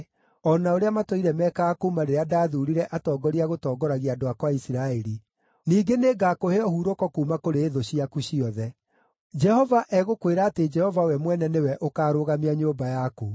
o na ũrĩa matũire meekaga kuuma rĩrĩa ndathuurire atongoria a gũtongoragia andũ akwa a Isiraeli. Ningĩ nĩngakũhe ũhurũko kuuma kũrĩ thũ ciaku ciothe. “ ‘Jehova egũkwĩra atĩ Jehova we mwene nĩwe ũkaarũgamia nyũmba yaku: